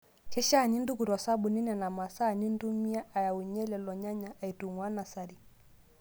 Keishaa nintuku to sabuni Nena maasaa nintumia ayaunye lelo nyanya aitung'uaa nasari.